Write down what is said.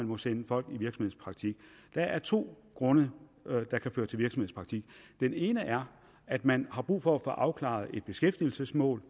må sende folk i virksomhedspraktik der er to grunde der kan føre til virksomhedspraktik den ene er at man har brug for at få afklaret et beskæftigelsesmål